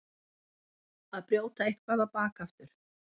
Að brjóta eitthvað á bak aftur